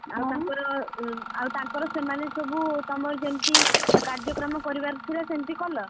ଆଉ ତାଙ୍କର ଆଉ ତାଙ୍କର ସେମାନେ ସବୁ ତମର ଯେମିତି, କାର୍ଯ୍ୟକ୍ରମ କରିବାର ଥିଲା ସେମିତି କଲ?